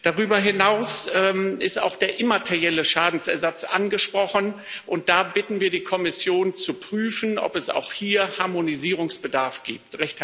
Darüber hinaus ist auch der immaterielle Schadensersatz angesprochen, und da bitten wir die Kommission zu prüfen, ob es auch hier Harmonisierungsbedarf gibt.